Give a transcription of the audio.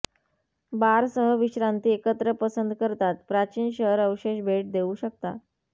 बार सह विश्रांती एकत्र पसंत करतात प्राचीन शहर अवशेष भेट देऊ शकता